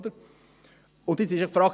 Nun stellt sich die Frage: